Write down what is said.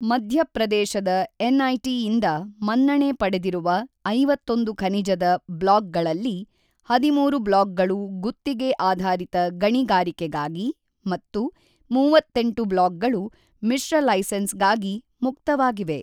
ಮಧ್ಯಪ್ರದೇಶದಎನ್ಐಟಿಯಿಂದ ಮನ್ನಣೆ ಪಡೆದಿರುವ ೫೧ ಖನಿಜದ ಬ್ಲಾಕ್ಗಳಲ್ಲಿ ೧೩ ಬ್ಲಾಕ್ಗಳು ಗುತ್ತಿಗೆ ಆಧಾರಿತ ಗಣಿಗಾರಿಕೆಗಾಗಿ ಮತ್ತು 38 ಬ್ಲಾಕ್ಗಳು ಮಿಶ್ರಲೈಸೆನ್ಸ್ ಗಾಗಿ ಮುಕ್ತವಾಗಿವೆ.